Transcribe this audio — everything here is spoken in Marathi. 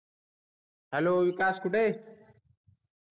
हॅलो विकास कुठे आहे